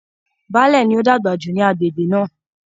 Baálẹ̀ ni ó dàgbà jù ní agbègbè náà.